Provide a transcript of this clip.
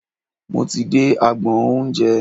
Mo ti dé agbọn oúnjẹ.